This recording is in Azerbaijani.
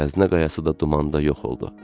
Xəzinə qayası da dumanda yox oldu.